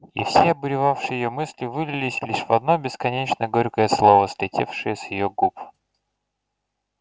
и все обуревавшие её мысли вылились лишь в одно бесконечно горькое слово слетевшее с её губ